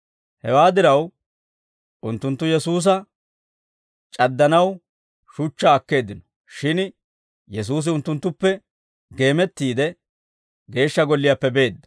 Hewaa diraw, unttunttu Yesuusa c'addanaw shuchchaa akkeeddino; shin Yesuusi unttunttuppe geemettiide, Geeshsha Golliyaappe beedda.